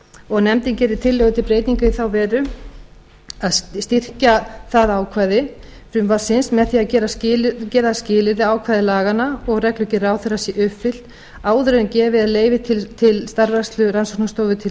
og nefndin gerir tillögu til breytinga í þá veru að styrkja það ákvæði frumvarpsins með því að gera skilyrði ákvæði laganna og reglugerð ráðherra sé uppfyllt áður en gefið er leyfi til starfrækslu rannsóknastofu til